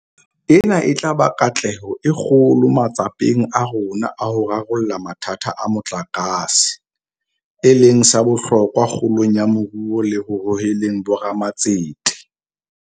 Ena e tla ba katleho e kgolo matsapeng a rona a ho rarolla mathata a motlakase, e leng sa bohlokwa kgolong ya moruo le ho hoheleng bo ramatsete.